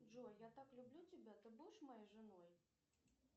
джой я так люблю тебя ты будешь моей женой